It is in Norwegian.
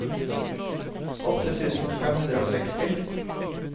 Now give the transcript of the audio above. åtte tusen fem hundre og seksti